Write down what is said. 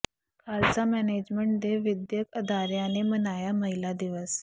Khalsa management ਦੇ ਵਿੱਦਿਅਕ ਅਦਾਰਿਆਂ ਨੇ ਮਨਾਇਆ ਮਹਿਲਾ ਦਿਵਸ